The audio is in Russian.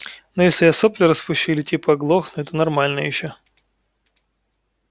ну если я сопли распущу или типа оглохну это нормально ещё